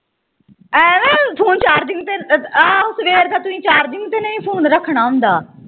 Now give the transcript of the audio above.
Phone charging ਤੇ ਆਹੋ ਸਵੇਰ ਦਾ ਤੁਹੀ charging ਤੇ ਨਹੀਂ ਫੋਨ ਰੱਖਣਾ ਹੁੰਦਾ।